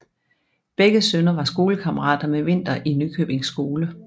Begge sønner var skolekammerater med Winther i Nykøbing skole